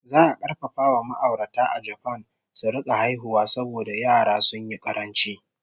Za a karfafa wa ma'aurata a Japan su rika haihuwa saboda yara sun yi ƙaranci!